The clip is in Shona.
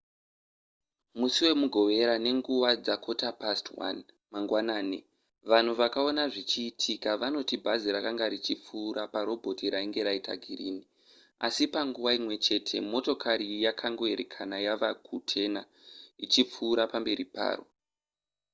musi wemugovera nenguva dza1:15 mangwanani vanhu vakaona zvichiitika vanoti bhazi rakanga richipfuura neparobhoti rainge raita girini asi panguva imwe chete motokari yakangoerekana yava kutena ichipfuura nepamberi paro